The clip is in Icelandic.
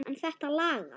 En þetta lagast.